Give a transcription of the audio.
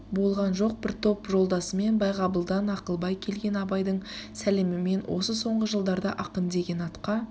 болған жоқ бір топ жолдасымен байғабылдан акылбай келген абайдың сәлемімен осы соңғы жылдарда акын деген атқа